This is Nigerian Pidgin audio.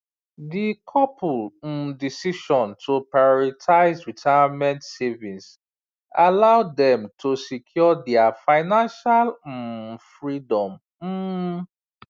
di couple um decision to prioritize retirement savings allow dem to secure their financial um freedom um